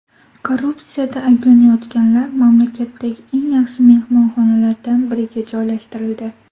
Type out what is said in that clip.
Korrupsiyada ayblanayotganlar mamlakatdagi eng yaxshi mehmonxonalardan biriga joylashtirildi.